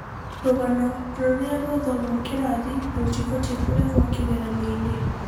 rũgano rũria rwathomwo kĩrathi rũtibatie kũrehwo kĩgeranio-inĩ.